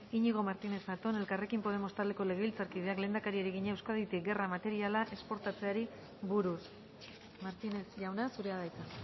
iñigo martínez zatón elkarrekin podemos taldeko legebiltzarkideak lehendakariari egina euskaditik gerra materiala esportatzeari buruz martínez jauna zurea da hitza